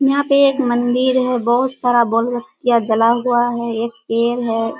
यहां पे एक मंदिर है बहुत सारा बल्ब दिया जला हुआ है एक पेड़ है।